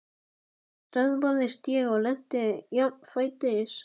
Loks stöðvaðist ég og lenti jafnfætis.